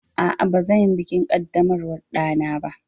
Aa, bazanyi bikin kaddamarwar ɗana ba